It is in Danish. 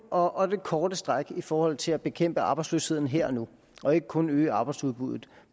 og og det korte stræk i forhold til at bekæmpe arbejdsløsheden her og nu og ikke kun at øge arbejdsudbuddet